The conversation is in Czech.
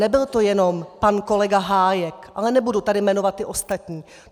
Nebyl to jenom pan kolega Hájek, ale nebudu tady jmenovat ty ostatní.